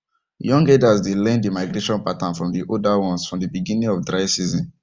young herders dey learn the migration pattern from the older ones from the beginning of dry season